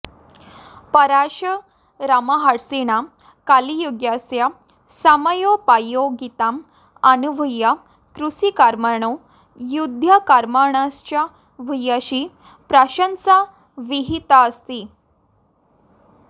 पराशरमहर्षिणा कलियुगस्य समयोपयोगिताम् अनुभूय कृषिकर्मणो युद्धकर्मणश्च भूयसी प्रशंसा विहिताऽस्ति